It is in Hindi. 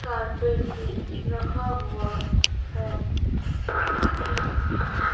कारपेट भी रखा हुआ है।